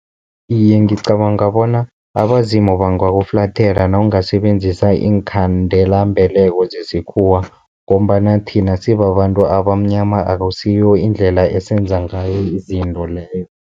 Iye, ngicabanga bona abazimu bangakuflathela nawungasebenzisa iinkhandelambeleko zesikhuwa, ngombana thina sibabantu abamnyama akusiyo indlela esenza ngayo izinto leyo.